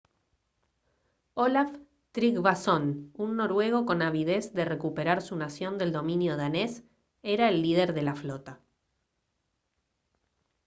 olaf trygvasson un noruego con avidez de recuperar su nación del dominio danés era el líder de la flota